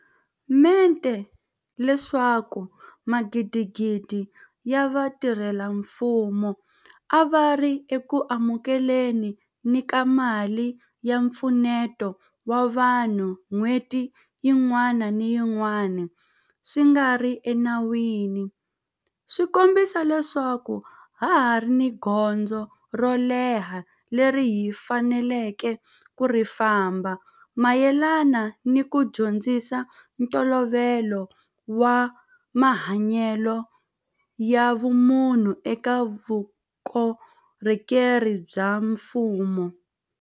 mente ka leswaku magidigidi ya vatirhela mfumo a va ri eku amukele ni ka mali ya mpfuneto wa vanhu n'hweti yin'wana ni yin'wana swi nga ri ena wini swi kombisa leswaku ha ha ri ni gondzo ro leha leri hi faneleke ku ri famba mayelana ni ku dyondzisa ntolovelo wa mahanyelo ya vumunhu eka vuko rhokeri bya mfumo.